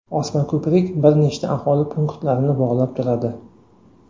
Osmako‘prik bir nechta aholi punktlarini bog‘lab turadi.